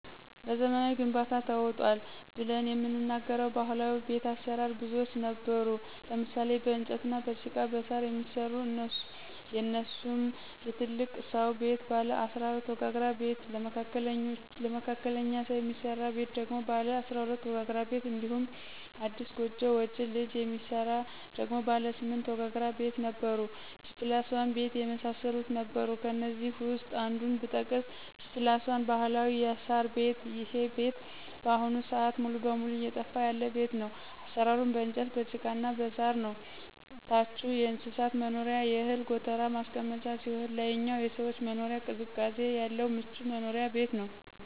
በዘመናዊ ግንባታ ተውጧል ብለን የምንናገረው ባህላዊ ቤት አሰራር ብዙዎች ነበሩ ለምሳሌ :- በእንጨትና በጭቃ በሳር የሚሰራ እነሱሙ የትልቅ ስው ቤት ባለ 14 ወጋግራ ቤት ለመካከለኞ ሰው የሚስራ ቤት ደግሞ ባለ 12 ወጋግራ ቤት እንዲሁም አዲስ ጎጆ ወጭ ልጅ የሚሰራ ደግሞ ባለ 8 ወጋግራ ቤት ነበሩ G+1 ቤት የመሳሰሉት ነበሩ ከእነዚህ ውስጥ አንዱን ብጠቅስ G+1 ባህላዊ የሳር ቤት ይሄ ቤት በአሁኑ ስአት ሙሉ በሙሉ እየጠፋ ያለ ቤት ነው አሰራሩም በእንጨት በጭቃና በሳር ነው ታቹ የእንስሳት መኖሪያና የእህል ጎተራ ማስቀመጫ ሲሆን ላይኛው የሰዎች መኖሪያ ቅዝቃዜ ያለው ምቹ መኖሪያ ቤት ነበር።